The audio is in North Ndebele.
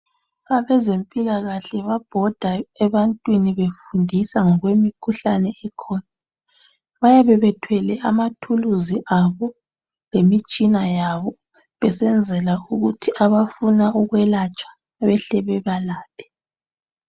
Abezempilakahle babhoda ebantwini befundisa ngokwemikhuhlane ekhona bayabe bethwele amathuluzi abo lemitshina yabo besenzela ukuthi abafuna ukwelatshwa behle bebalaphe